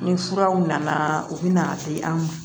Ni furaw nana u bɛna a di an ma